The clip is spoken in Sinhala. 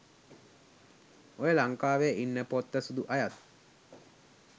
ඔය ලංකාවෙ ඉන්න පොත්ත සුදු අයත්